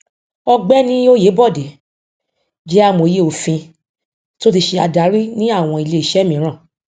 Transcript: ọgbẹni oyèbọdè jẹ amòye òfin tí ó ti ṣe adarí ní àwọn iléiṣẹ míràn